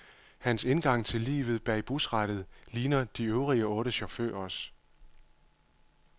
Hans indgang til livet bag busrattet ligner de øvrige otte chaufførers.